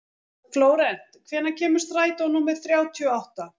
Flórent, hvenær kemur strætó númer þrjátíu og átta?